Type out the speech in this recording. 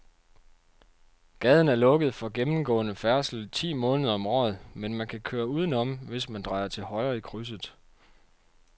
Gaden er lukket for gennemgående færdsel ti måneder om året, men man kan køre udenom, hvis man drejer til højre i krydset.